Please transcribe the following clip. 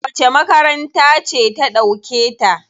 Wace makaranta ce ta ɗauke ta?